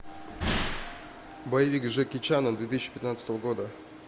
боевик с джеки чаном две тысячи пятнадцатого года